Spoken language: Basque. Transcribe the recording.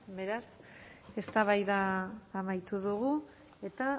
beraz eztabaida amaitu dugu eta